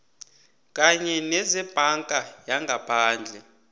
kanye nezebhanka yangaphandle